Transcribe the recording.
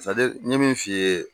n ye min f'i ye.